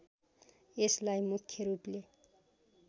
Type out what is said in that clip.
यसलाई मुख्य रूपले